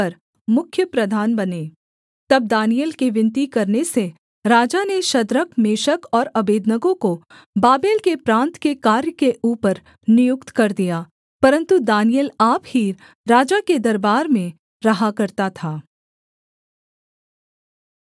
तब दानिय्येल के विनती करने से राजा ने शद्रक मेशक और अबेदनगो को बाबेल के प्रान्त के कार्य के ऊपर नियुक्त कर दिया परन्तु दानिय्येल आप ही राजा के दरबार में रहा करता था